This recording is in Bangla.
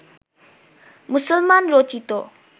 মুসলমান রচিত